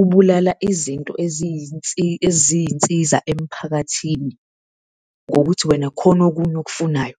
ubulala izinto eziyinsiza emphakathini ngokuthi wena kukhona okunye okufunayo.